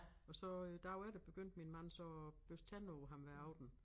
Og så øh derefter begyndte min mand så at børste tænder på ham hver aften